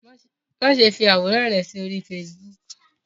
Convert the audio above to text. Máṣe fí àwòrán rẹ sórí Facebook.